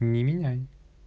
не меняй